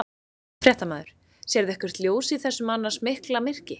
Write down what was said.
Fréttamaður: Sérðu eitthvert ljós í þessu annars mikla myrkri?